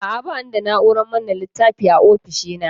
A'a, ba ni da na'urar manne littafi a ofishina.